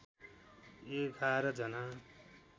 एघार जना